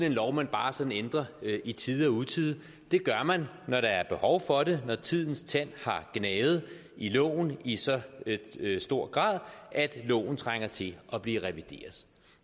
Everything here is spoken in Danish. en lov man bare sådan ændrer i tide og utide det gør man når der er behov for det når tidens tand har gnavet i loven i så stor grad at loven trænger til at blive revideret